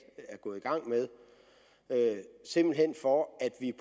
er gået i gang med simpelt hen for at vi